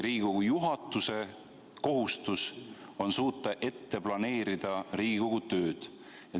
Riigikogu juhatuse kohustus on aga suuta planeerida Riigikogu tööd.